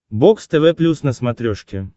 бокс тв плюс на смотрешке